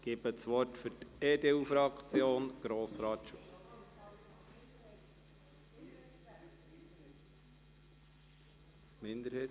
– Ich gebe das Wort für die EDU-Fraktion an Grossrat Schwarz.